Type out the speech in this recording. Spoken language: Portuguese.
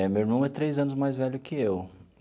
É, meu irmão é três anos mais velho que eu.